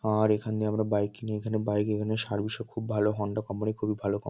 আর এখান দিয়ে আমরা বাইক কিনি। এখানে বাইক এখানে সার্ভিস ও খুব ভালো হণ্ডা কোম্পানি খুবী ভালো কম --